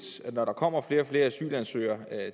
at når der kommer flere og flere asylansøgere